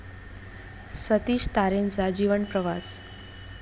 सतीश तारेंचा जीवन प्रवास